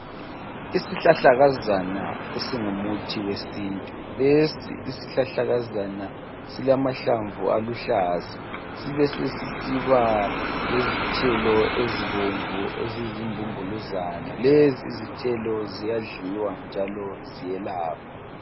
Isihlahlakazana esingumuthi wesintu. Lesi isihlahlakazana silamahlamvu aluhlaza. Besesisiba lezithelo ezizimbumbuluzana. Lezi izithelo ziyadliwa njalo ziyelapha..